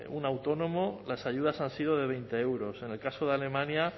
un autónomo las ayudas han sido de veinte euros en el caso de alemania